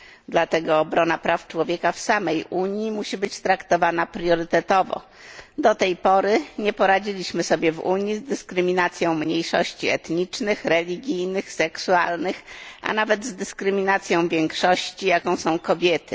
Dlatego obrona praw człowieka w samej Unii musi być traktowana priorytetowo. Do tej pory nie poradziliśmy sobie w Unii z dyskryminacją mniejszości etnicznych, religijnych, seksualnych, a nawet z dyskryminacją większości, jaką są kobiety.